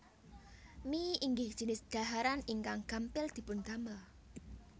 Mie inggih jinis dhaharan ingkang gampil dipun damel